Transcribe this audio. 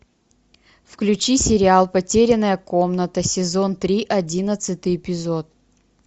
включи сериал потерянная комната сезон три одиннадцатый эпизод